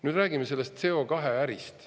Nüüd räägime sellest CO2-ärist.